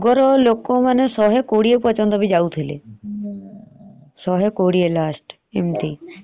ହଁ। ଅଗର ଲୋକ ମାନେ ଶହେ କୋଡିଏ ପର୍ଯନ୍ତ ବି ଯାଉଥିଲେ।